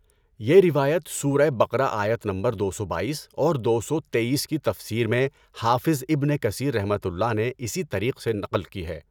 یہ روایت سورۃ بقرہ آیت نمبر دو سو بائیس اور دو سو تیئیس کی تفسیر میں حافظ ابن کثیرؒ نے اسی طریق سے نقل کی ہے۔